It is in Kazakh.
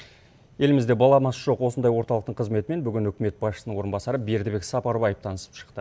елімізде баламасы жоқ осындай орталықтың қызметімен бүгін үкімет басшысының орынбасары бердібек сапарбаев танысып шықты